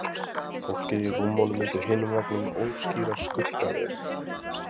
Fólkið á rúmunum undir hinum veggnum óskýrar skuggaverur.